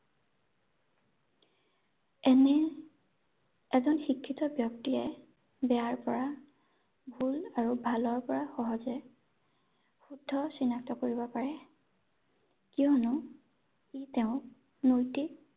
এনে এজন শিক্ষিত ব্যক্তিয়ে বেয়াৰ পৰা ভুল আৰু ভালৰ পৰা সহজে শুদ্ধ চিনাক্ত কৰিব পাৰে কিয়নো ই তেওঁক উন্নতি